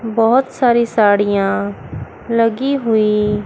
बहोत सारी सड़ीया लगी हुई--